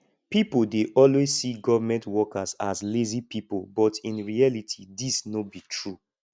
people dey always see government workers as lazy pipo but in reality dis no be true